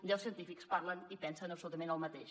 deu científics parlen i pensen absolutament el mateix